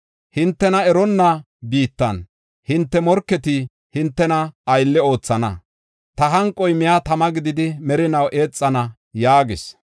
Hintena eronna biittan hinte morketi hintena aylle oothana. Ta hanqoy miya tama gididi merinaw eexana” yaagis.